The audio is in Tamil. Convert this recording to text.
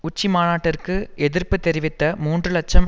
உச்சிமாநாட்டிற்கு எதிர்ப்பு தெரிவித்த மூன்று இலட்சம்